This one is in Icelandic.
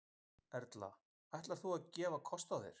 Erla: Ætlar þú að gefa kost þér?